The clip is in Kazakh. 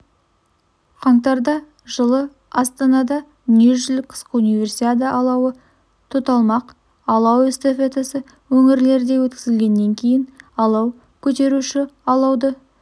қаңтарда жылы астанада дүниежүзілік қысқы универсиада алауы тұталмақ алау эстафетасы өңірлерде өткізілгеннен кейін алау көтеруші алауды